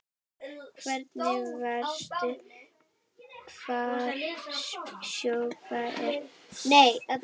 Hvernig veistu hvar sjoppan er?